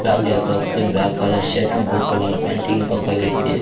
అలాగే ఒకటి black colour shirt blue colour pant ఇంకొక వ్యక్తి--